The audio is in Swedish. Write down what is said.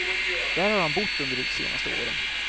Där har han bott under de senaste åren.